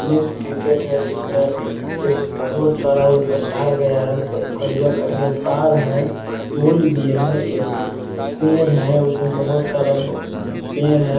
हेय जिसमें बहुत सारा ऊपर तार गया है करिया-करिया तार है फुल भी है एक पेड़ है उसमें बहुत सारा पेड़ है।